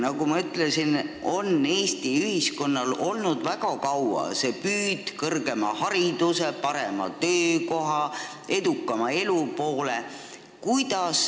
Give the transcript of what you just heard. Nagu ma ütlesin, Eesti ühiskonnas on väga kaua olnud püüd kõrgema hariduse, parema töökoha, edukama elu poole.